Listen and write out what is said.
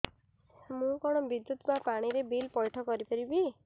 ମୁ କଣ ବିଦ୍ୟୁତ ବା ପାଣି ର ବିଲ ପଇଠ କରି ପାରିବି